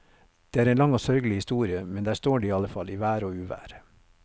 Det er en lang og sørgelig historie, men der står de iallfall, i vær og uvær.